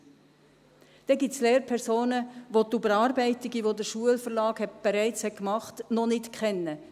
Weiter gibt es Lehrpersonen, welche die Überarbeitungen, die der Schulverlag bereits gemacht hat, noch nicht kennen.